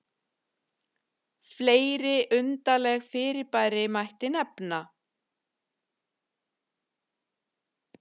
fleiri undarleg fyrirbæri mætti nefna